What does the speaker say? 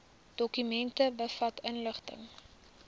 dokument bevat inligting